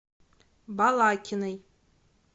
балакиной